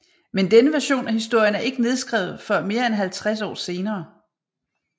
Men denne version af historien er ikke nedskrevet før mere end 50 år senere